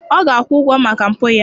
Ọ ga-akwụ ụgwọ maka mpụ ya